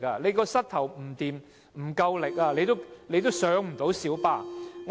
如果膝蓋不夠力，也很難登上小巴。